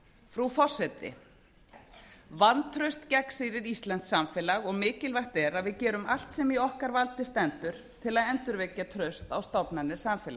frú forseti vantraust gegnsýrir íslenskt samfélag og mikilvægt er að við gerum allt sem í okkar valdi stendur til að endurvekja traust á stofnanir